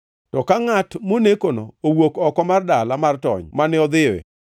“ ‘To ka ngʼat monekono owuok oko mar dala mar tony mane odhiyoe,